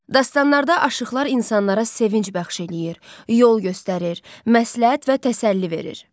Dastanlarda aşıqlar insanlara sevinc bəxş eləyir, yol göstərir, məsləhət və təsəlli verir.